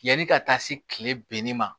Yanni ka taa se kile binni ma